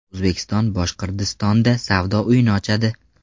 O‘zbekiston Boshqirdistonda savdo uyini ochadi.